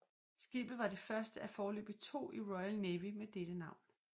Skibet var det første af foreløbig to i Royal Navy med dette navn